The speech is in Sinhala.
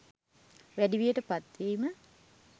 වැඩිවියට පත්වීම